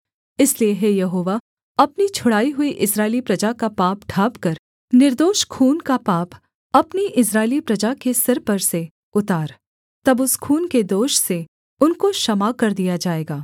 इसलिए हे यहोवा अपनी छुड़ाई हुई इस्राएली प्रजा का पाप ढाँपकर निर्दोष खून का पाप अपनी इस्राएली प्रजा के सिर पर से उतार तब उस खून के दोष से उनको क्षमा कर दिया जाएगा